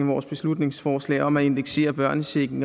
vores beslutningsforslag om at indeksere børnechecken